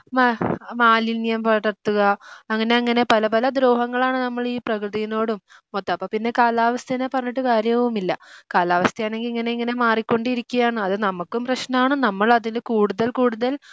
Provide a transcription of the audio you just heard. മ മാലിന്യം പടർത്തുക അങ്ങനെ അങ്ങനെ പല പല ദ്രോഹങ്ങളാണ് നമ്മളീ പ്രകൃതിനോടും മൊത്തം അപ്പൊ പിന്നെ കാലാവസ്ഥേനെ പറഞ്ഞിട്ട് കാര്യവുമില്ല. കാലാവസ്ഥയാണെങ്കി ഇങ്ങനെ ഇങ്ങനെ മാറി കൊണ്ടിരിക്കുകയാണ് അതു നമുക്കും പ്രശ്നമാണ് നമ്മള് അതിൽ കൂടുതൽ കൂടുതൽ